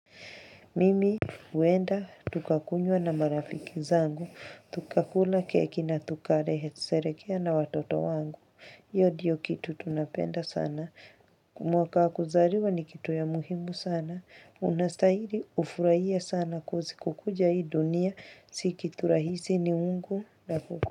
Mimi huenda, tukakunywa na marafiki zangu. Tukakula keki na tukasherehekea na watoto wangu. Hiyo ndiyo kitu tunapenda sana. Mwaka wa kuzaliwa ni kitu ya muhimu sana. Unastahili hufurahie sana coz kukuja hii dunia. Si kitu rahisi ni mungu.